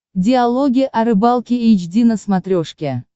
диалоги о рыбалке эйч ди на смотрешке